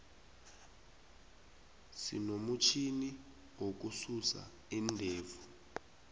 sinomutjhini wokususa iindevu